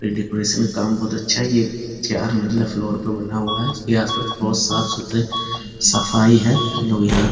फिर डेकोरेशन काम बहुत अच्छा है ये चार मंजिला फ्लौर पे बना हुआ है। इसके आस-पास बहुत साफ़-सुथरे सफाई है। लोग यहाँ --